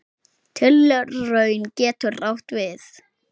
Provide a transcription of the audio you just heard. Tilraun getur átt við